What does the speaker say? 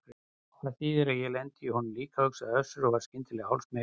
Og það þýðir að ég lendi í honum líka, hugsaði Össur og varð skyndilega hálfsmeykur.